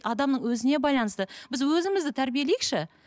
адамның өзіне байланысты біз өзімізді тәрбиелейікші